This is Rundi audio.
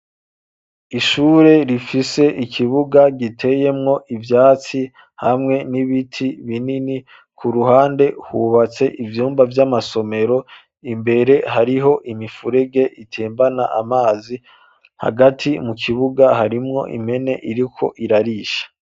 Ishure rifise ikibuga giteyemwo ibyatsi hamwe n'ibiti binini ku ruhande hubatse ibyumba by'amasomero imbere hariho imifurege itembana amazi hagati mu kibuga harimwo impene iriko irarisha.